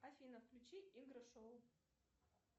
афина включи игры шоу